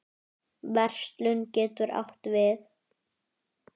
Verslun getur átt við